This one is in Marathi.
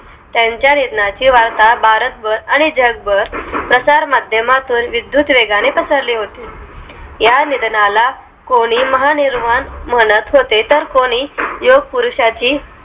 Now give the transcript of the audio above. त्यांच्या निधनाची वार्ता भारतभर आणि जगभर प्रचारमाध्यमातून विद्युत वेगाने पसरले होते या निधनाला कोणी महानिर्वाण म्हणत होते तारे कोणी योग पुरुषाची